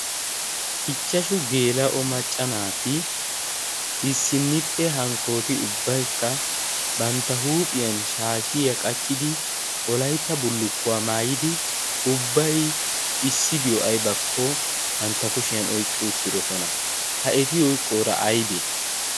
ichchashu geela'o macca naati issinnipphe hankkooti ubbaykka bantta huuphiyan shaashiya qachchidi wolaytta bullukkuwaa maayidi ubbai issibiyo aibakko bantta kushiyan oyqqi uttirosona ha eti oyqqoora aybee